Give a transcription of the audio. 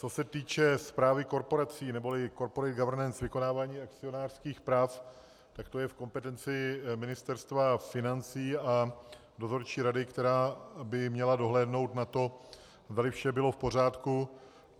Co se týče správy korporací, neboli corporate government vykonávání akcionářských prací, tak to je v kompetenci Ministerstva financí a dozorčí rady, která by měla dohlédnout na to, zdali vše bylo v pořádku.